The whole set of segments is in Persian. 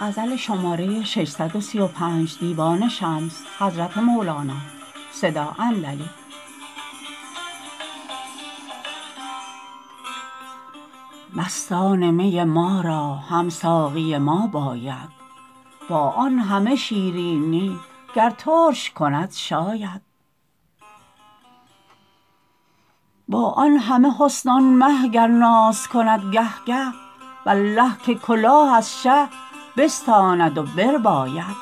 مستان می ما را هم ساقی ما باید با آن همه شیرینی گر ترش کند شاید با آن همه حسن آن مه گر ناز کند گه گه والله که کلاه از شه بستاند و برباید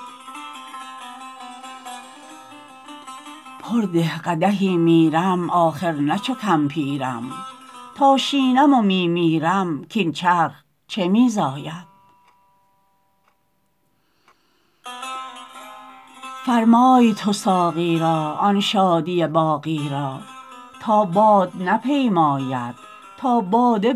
پر ده قدحی میرم آخر نه چو کمپیرم تا شینم و می میرم کاین چرخ چه می زاید فرمای تو ساقی را آن شادی باقی را تا باد نپیماید تا باده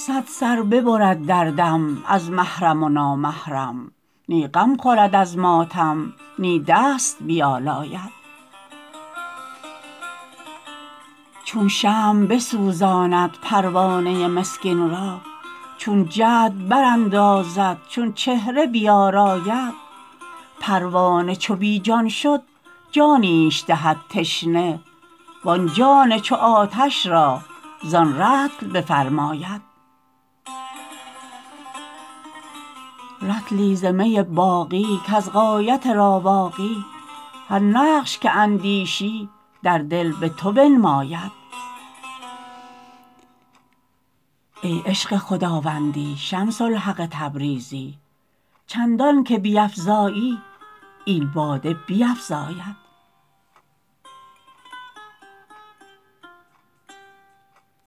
بپیماید صد سر ببرد در دم از محرم و نامحرم نی غم خورد از ماتم نی دست بیالاید چون شمع بسوزاند پروانه مسکین را چون جعد براندازد چون چهره بیاراید پروانه چو بی جان شد جانیش دهد نسیه وان جان چو آتش را زان رطل بفرماید رطلی ز می باقی کز غایت راواقی هر نقش که اندیشی در دل به تو بنماید ای عشق خداوندی شمس الحق تبریزی چندانک بیفزایی این باده بیفزاید